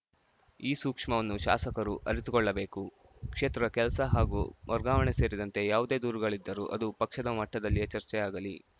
ಈ ಸೂಕ್ಷ್ಮವನ್ನು ಶಾಸಕರು ಅರಿತುಕೊಳ್ಳಬೇಕು ಕ್ಷೇತ್ರ ಕೆಲಸ ಹಾಗೂ ವರ್ಗಾವಣೆ ಸೇರಿದಂತೆ ಯಾವುದೇ ದೂರುಗಳಿದ್ದರೂ ಅದು ಪಕ್ಷದ ಮಟ್ಟದಲ್ಲಿ ಚರ್ಚೆಯಾಗಲಿ